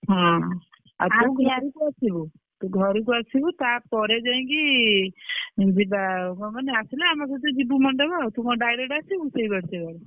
ହଁ ଆଉ ତୁ ଆସିବୁ ତୁ ଘରକୁ ଆସିବୁ ତାପରେ ଯାଇକି ଉଁ ଯିବା କଣ କହନି ଆସିଲେ ଆମ ସହିତ ଯିବୁ ମଣ୍ଡପ ଆଉ। ତୁ କଣ direct ଆସିବୁ ସେଇଆଡୁ ସେପଟୁ?